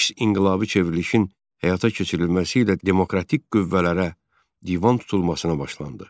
Əks inqilabi çevrilişin həyata keçirilməsi ilə demokratik qüvvələrə divan tutulmasına başlandı.